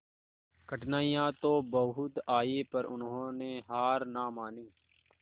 कठिनाइयां तो बहुत आई पर उन्होंने हार ना मानी